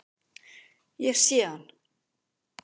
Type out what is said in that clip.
Ég sé hann.